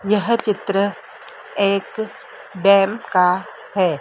यह चित्र एक डैम का है।